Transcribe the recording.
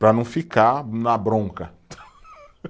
Para não ficar na bronca.